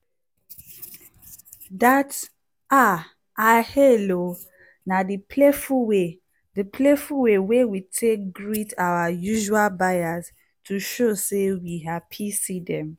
that “ah i hail o!” na the playful way the playful way we take greet our usual buyers to show say we happy see them.